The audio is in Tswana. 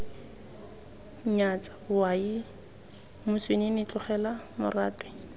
nyatsa owaii moswinini tlogela moratwe